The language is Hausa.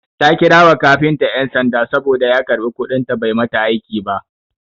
Ta kira wa kafinta ƴan sanda saboda ya karɓi kuɗin ta bai mata aiki ba.